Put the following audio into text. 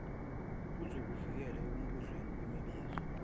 uzokuvikela ekubuzweni kwemibuzo